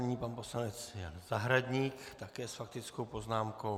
Nyní pan poslanec Zahradník také s faktickou poznámkou.